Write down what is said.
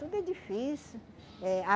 Tudo é difícil. Eh a